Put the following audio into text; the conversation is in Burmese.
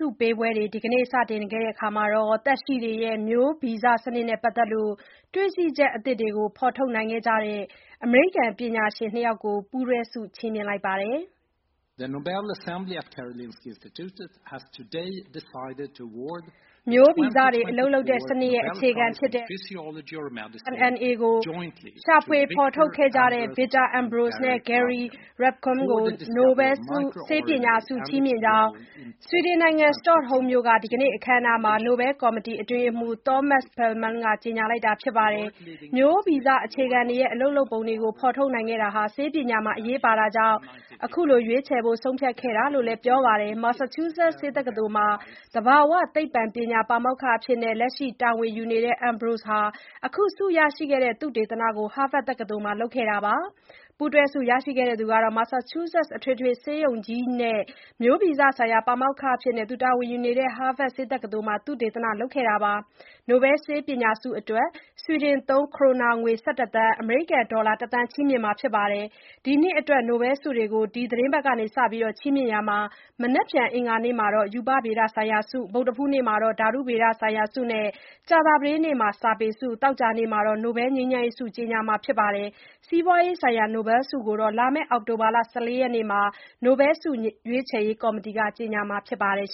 ုပေးပွဲတွေ ဒီကနေ့ စတင်ခဲ့ရာမှာ သက်ရှိတွေရဲ့ မျိုးဗီဇစနစ်နဲ့ ပတ်သက်လို့ တွေ့ရှိချက် အသစ်တွေကို ဖော်ထုတ်နိုင်ခဲ့ကြတဲ့ အမေရိကန် ပညာရှင် ၂ ယောက်ကို ပူးတွဲချီးမြှင့်လိုက်ပါတယ်။ မျိုးဗီဇတွေ အလုပ်လုပ်တဲ့စနစ်ရဲ့ အခြေခံဖြစ်တဲ့ microRNA ကို ရှာဖွေ ဖော်ထုတ်ခဲ့ကြတဲ့ Victor Ambros နဲ့ Gary Ruvkun တို့ကို နိုဘယ်ဆေးပညာဆု ချီးမြှင့်ကြောင်း ဆွီဒင်နိုင်ငံ၊ စတော့ဟုမ်းမြို့က ဒီကနေ့ အခမ်းအနားမှာ နိုဘယ်ကော်မတီ အတွင်းရေးမှူး Thomas Perlmann က ကြေညာလိုက်တာပါ။ မျိုးဗီဇ အခြေခံတွေရဲ့ အလုပ်လုပ်ပုံတွေကို ဖော်ထုတ်နိုင်ခဲ့တာဟာ ဆေးပညာမှာ အရေးပါတာကြောင့် အခုလို ရွေးချယ်ဖို့ ဆုံးဖြတ်ခဲ့တာလို့လည်း ပြောပါတယ်။ Massachusetts ဆေးတက္ကသိုလ်မှာ သဘာဝသိပ္ပံပညာ ပါမောက္ခအဖြစ် လက်ရှိတာဝန်ယူနေတဲ့ Ambros ဟာ အခုဆုရရှိခဲ့တဲ့ သုတေသနကို Harvard တက္ကသိုလ်မှာ လုပ်ခဲ့တာပါ။ ပူးတွဲဆု ရရှိခဲ့တဲ့ Ruvkun ကတော့ Massachusetts အထွေတွေဆေးရုံကြီးနဲ့ မျိုးဗီဇဆိုင်ရာ ပါမောက္ခအဖြစ် တာဝန်ယူနေတဲ့ Harvard ဆေးတက္ကသိုလ်မှာ သုတေသနလုပ်ခဲ့တာပါ။ နိုဘယ်ဆေးပညာဆုအတွက် ဆွီဒင်သုံး ခရိုနာငွေ ၁၁ သန်း (အမေရိကန်ဒေါ်လာ ၁ သန်း) ချီးမြှင့်မှာ ဖြစ်ပါတယ်။ ဒီနှစ်အတွက် နိုဘယ်ဆုတွေကို ဒီတပတ်ကစ ချီးမြှင့်ရာမှာ မနက်ဖြန် အင်္ဂါနေ့မှာတော့ ရူပဗေဒဆိုင်ရာဆု၊ ဗုဒ္ဓဟူးနေ့မှာ ဓာတုဗေဒဆိုင်ရာဆု နဲ့ ကြာသပတေးနေ့မှာ စာပေဆု၊ သောကြာနေ့မှာတော့ နိုဘယ်ငြိမ်းချမ်းရေးဆုကို ကြေညာမှာပါ။ စီးပွားရေးဆိုင်ရာ နိုဘယ်ဆုကိုတော့ လာမယ့် အောက်တိုဘာ ၁၄ ရက်နေ့မှာ နိုဘယ်ဆုရွေးချယ်ရေး ကော်မတီက ကြေညာမှာဖြစ်ပါတယ်